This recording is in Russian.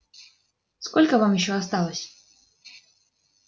сколько вам ещё осталось